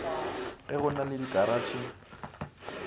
ge go na le dikaratšhe